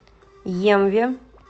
емве